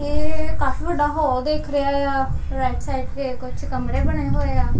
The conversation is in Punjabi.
ਇਹ ਕਾਫੀ ਵੱਡਾ ਹਾਲ ਦਿੱਖ ਰਿਹਾ ਆ ਰਾਇਟ ਸਾਈਡ ਤੇ ਕੁੱਛ ਕਮਰੇ ਬਣੇ ਹੋਏ ਆ।